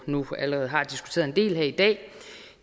nu allerede har diskuteret en del her i dag